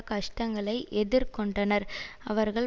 கஷ்டங்களை எதிர்கொண்டனர் அவர்கள்